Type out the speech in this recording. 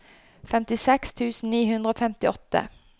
femtiseks tusen ni hundre og femtiåtte